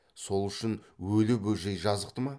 сол үшін өлі бөжей жазықты ма